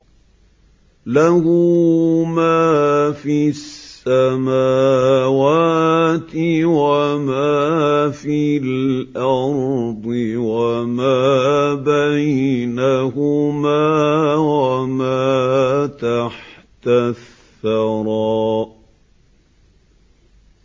لَهُ مَا فِي السَّمَاوَاتِ وَمَا فِي الْأَرْضِ وَمَا بَيْنَهُمَا وَمَا تَحْتَ الثَّرَىٰ